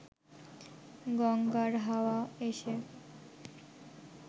গঙ্গার হাওয়া এসে